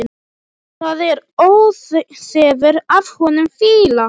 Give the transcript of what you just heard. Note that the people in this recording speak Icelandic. Það er óþefur af honum fýla!